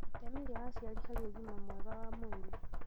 itemi rĩa aciari harĩ ũgima mwega wa ciana